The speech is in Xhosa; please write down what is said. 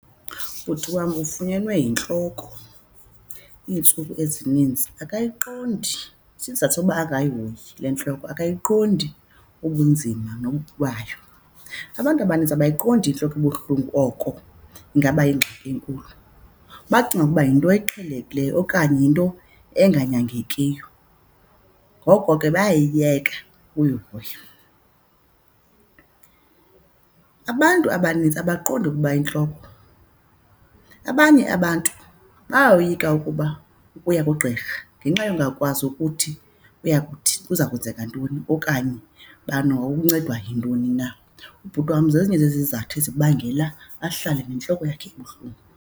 Ubhuti wam ufunyenwe yintloko iintsuku ezinintsi. Akayiqondi, isizathu sokuba angayihoyi le ntloko akayiqondi ubunzima nobubi bayo. Abantu abaninzi abayiqondi intloko ebuhlungu oko ingaba yingxaki enkulu. Bacinga ukuba yinto eqhelekileyo okanye yinto enganyangekiyo, ngoko ke bayayiyeka uyihoya. Abantu abanintsi abaqondi ukuba intloko, abanye abantu bayoyika ukuba ukuya kugqirha ngenxa yongakwazi ukuthi uya kuthi kuza kwenzeka ntoni okanye bani wawuncedwa yintoni na. Ubhuti wam zezinye zezizathu ezibangela ahlale nentloko yakhe ebuhlungu.